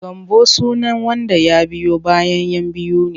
Gambo sunan wanda ya biyo bayan 'yan biyu ne.